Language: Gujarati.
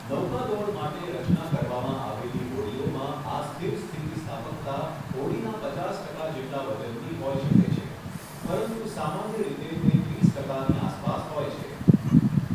નૌકાદોડ માટે રચના કરવામાં આવેલી હોડીઓમાં આ સ્થિર સ્થિતિસ્થાપકતા હોડીના પચાસ ટકા જેટલા વજનની હોઈ શકે છે, પરંતુ સામાન્ય રીતે તે ત્રીસ ટકાની આસપાસ હોય છે.